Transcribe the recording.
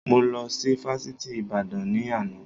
Mo lọ sí Fásitì Ìbàdàn ni àná